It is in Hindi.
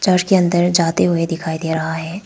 घर के अंदर जाते हुए दिखाई दे रहा है।